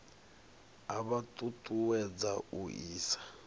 a vha ṱuṱuwedza u isa